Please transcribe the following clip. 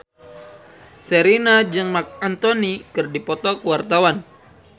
Sherina jeung Marc Anthony keur dipoto ku wartawan